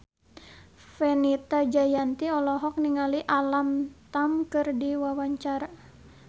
Fenita Jayanti olohok ningali Alam Tam keur diwawancara